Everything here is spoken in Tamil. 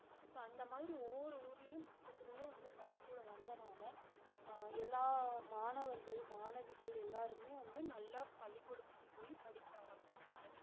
இப்ப அந்த மாதிரி ஒவ்வொரு ஊருலயும் பக்கத்துலயே வந்து பள்ளிக்கூடம் வந்தனால ஆஹ் எல்லா மாணவர்கள் மாணவிகள் எல்லாருமே வந்து நல்லா பள்ளிக்கூடத்துக்கு போய் படிக்க ஆரம்பிச்சாங்க